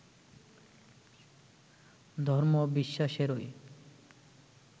ধর্ম-বিশ্বাসেরই